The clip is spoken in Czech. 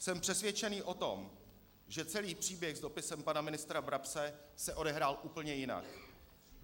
Jsem přesvědčený o tom, že celý příběh s dopisem pana ministra Brabce se odehrál úplně jinak.